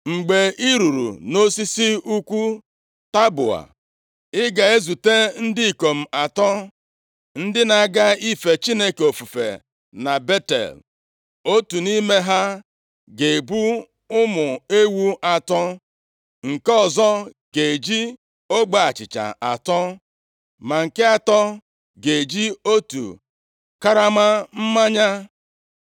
“Mgbe i ruru nʼosisi ukwu Taboa, ị ga-ezute ndị ikom atọ ndị na-aga ife Chineke ofufe na Betel. Otu nʼime ha ga-ebu ụmụ ewu atọ, nke ọzọ ga-eji ogbe achịcha atọ, ma nke atọ ga-eji otu karama mmanya.